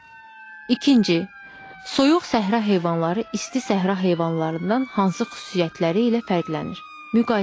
İkinci: Soyuq səhra heyvanları isti səhra heyvanlarından hansı xüsusiyyətləri ilə fərqlənir?